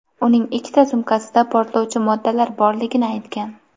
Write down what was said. uning ikkita sumkasida portlovchi moddalar borligini aytgan.